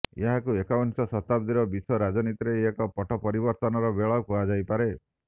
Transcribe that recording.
ଏହାକୁ ଏକବିଂଶ ଶତାବ୍ଦୀର ବିଶ୍ବ ରାଜନୀତିରେ ଏକ ପଟ ପରିବର୍ତ୍ତନର ବେଳ କୁହାଯାଇପାରେ